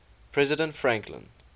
president franklin